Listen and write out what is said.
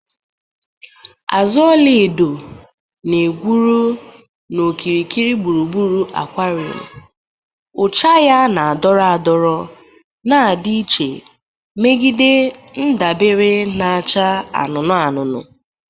Azụ ọla edo na-egwuru n'okirikiri gburugburu aquarium, ụcha ya na-adọrọ adọrọ na-adị iche megide ndabere na-acha anụnụ anụnụ